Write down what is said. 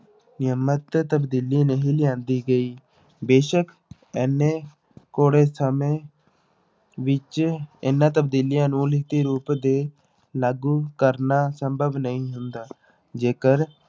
ਨਿਯਮਿਤ ਤਬਦੀਲੀ ਨਹੀਂ ਲਿਆਂਦੀ ਗਈ ਬੇਸ਼ਕ ਇੰਨੇ ਸਮੇਂ ਵਿੱਚ ਇਹਨਾਂ ਤਬਦੀਲੀਆਂ ਨੂੰ ਲਿਖਤੀ ਰੂਪ ਦੇ ਲਾਗੂ ਕਰਨਾ ਸੰਭਵ ਨਹੀਂ ਹੁੰਦਾ ਜੇਕਰ